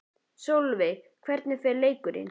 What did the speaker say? Sólveig: Hvernig fer leikurinn?